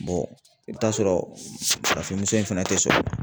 i bɛ taa sɔrɔ farafin muso in fɛnɛ tɛ sɔrɔ.